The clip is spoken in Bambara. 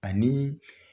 Ani